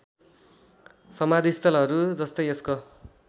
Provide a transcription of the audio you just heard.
समाधिस्थलहरू जस्तै यसको